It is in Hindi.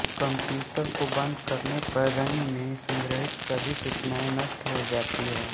कम्प्यूटर को बन्द करने पर रैम में संग्रहित सभी सूचनाऐं नष्ट हो जाती हैं